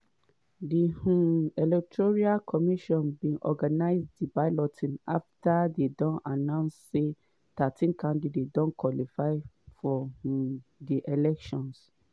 di um electoral commission bin organize di balloting afta dey announce say thirteen candidates don qualify for um di elections.